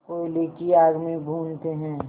कोयले की आग में भूनते हैं